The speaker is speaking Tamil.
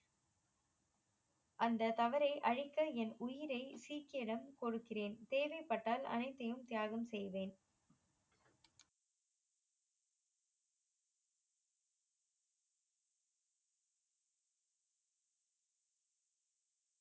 அந்த தவறை அளிக்க என் உயிரை சீக்கிரம் கொடுக்கிறேன் தேவைப்பட்டால் அனைத்தையும் தியாகம் செய்வேன்